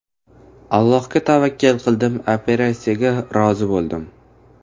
Allohga tavakkal qildim, operatsiyaga rozi bo‘ldim.